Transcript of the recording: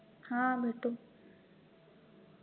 हा भेटू